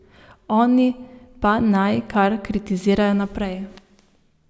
Oni pa naj kar kritizirajo naprej.